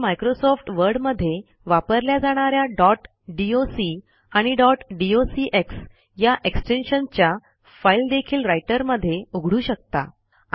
तुम्ही मायक्रोसॉफ्ट वर्डमध्ये वापरल्या जाणा या डॉट डॉक आणि डॉट डॉक्स या एक्सटेन्शनच्या फाईल देखील रायटर मध्ये उघडू शकता